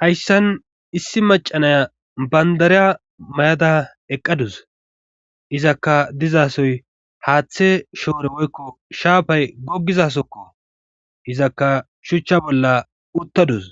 hayssan issi macanaya bandariya mayada eqqadus izakka dizasoy haaththe shoore woykko shaafay goggizasokko izakka shuchcha bolla uttadus